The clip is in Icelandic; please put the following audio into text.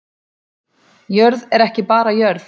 Jörð er ekki bara jörð